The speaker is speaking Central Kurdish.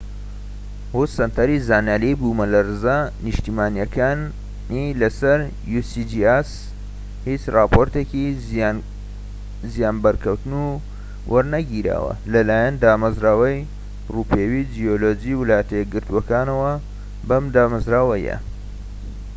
هیچ راپۆرتێکی زیانبەرکەوتن وەرنەگیراوە لەلایەن دامەزراوەی ڕووپێوی جیۆلۆجی ویلایەتە یەکگرتووەکانەوە usgs و سەنتەری زانیاری بومەلەرزە نیشتیمانیەکانی سەر بەم دامەزراوەیە